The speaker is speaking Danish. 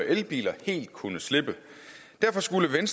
elbiler helt kunne slippe derfor skulle